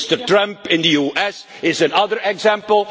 Mr Trump in the US is another example.